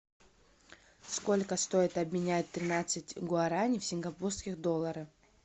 сколько стоит обменять тринадцать гуарани в сингапурские доллары